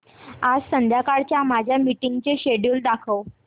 आज संध्याकाळच्या माझ्या मीटिंग्सचे शेड्यूल दाखव